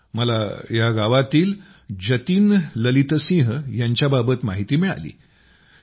मला या गावातील जतिन ललितसिंह यांच्याबाबत माहिती मिळाली आहे